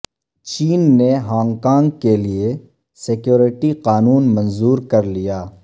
چین نے Hong Kong کیلئے security قانون منظور کر لیا